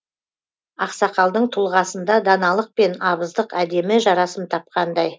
ақсақалдың тұлғасында даналық пен абыздық әдемі жарасым тапқандай